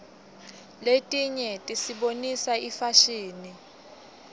letinye tisibonisa ifashini